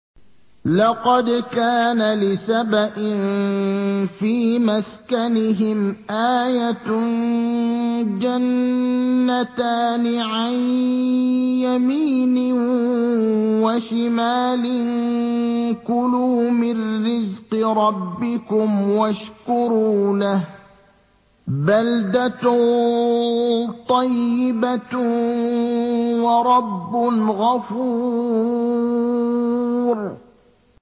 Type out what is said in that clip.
لَقَدْ كَانَ لِسَبَإٍ فِي مَسْكَنِهِمْ آيَةٌ ۖ جَنَّتَانِ عَن يَمِينٍ وَشِمَالٍ ۖ كُلُوا مِن رِّزْقِ رَبِّكُمْ وَاشْكُرُوا لَهُ ۚ بَلْدَةٌ طَيِّبَةٌ وَرَبٌّ غَفُورٌ